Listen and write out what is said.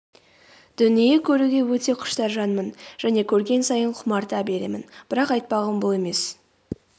дүние көруге өте құштар жанмын және көрген сайын құмарта беремін.бірақ айтпағым бұл емес